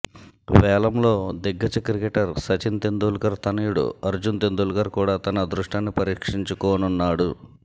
వేలంలో దిగ్గజ క్రికెటర్ సచిన్ తెందుల్కర్ తనయుడు అర్జున్ తెందుల్కర్ కూడా తన అదృష్టాన్ని పరీక్షించుకోనున్నాడు